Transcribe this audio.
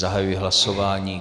Zahajuji hlasování.